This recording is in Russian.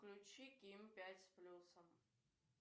включи ким пять с плюсом